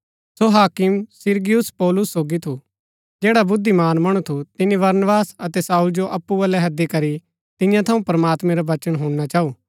सो हाकिम सिरगियुस पौलुस सोगी थु जैडा बुद्धिमान मणु थु तिनी बरनबास अतै शाऊल जो अप्पु बलै हैदी करी तियां थऊँ प्रमात्मैं रा वचन हुणना चाऊ